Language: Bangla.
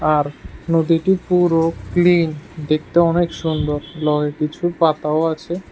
আর নদীটি পুরো ক্লিন দেখতেও অনেক সুন্দর কিছু পাতাও আছে।